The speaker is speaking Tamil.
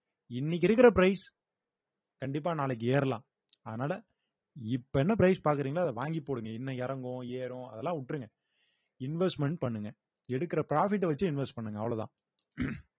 இன்னைக்கு இருக்கிற price கண்டிப்பா நாளைக்கு ஏறலாம் அதனால இப்ப என்ன price பாக்குறீங்களோ அத வாங்கி போடுங்க இன்னும் இறங்கும் ஏறும் அதெல்லாம் விட்டிருங்க investment பண்ணுங்க எடுக்கிற profit அ வச்சே invest பண்ணுங்க அவ்வளவுதான்